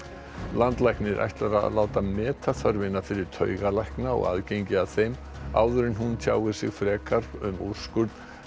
landlæknir ætlar að láta meta þörfina fyrir taugalækna og aðgengi að þeim áður en hann tjáir sig frekar um úrskurð